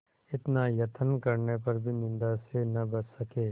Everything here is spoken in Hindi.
इतना यत्न करने पर भी निंदा से न बच सके